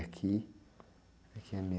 Aqui, aqui é